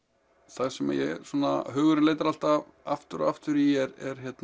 það sem hugurinn leitar alltaf aftur aftur í er